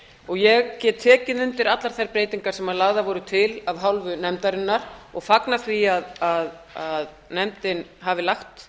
breytingum ég tek tekið undir allar þær breytingar sem lagðar voru til af hálfu nefndarinnar og fagna því að nefndin hafi lagt